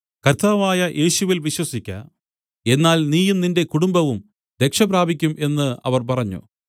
കർത്താവായ യേശുവിൽ വിശ്വസിക്ക എന്നാൽ നീയും നിന്റെ കുടുംബവും രക്ഷപ്രാപിക്കും എന്ന് അവർ പറഞ്ഞു